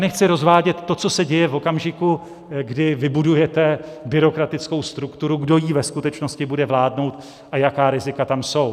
Nechci rozvádět to, co se děje v okamžiku, kdy vybudujete byrokratickou strukturu, kdo jí ve skutečnosti bude vládnout a jaká rizika tam jsou.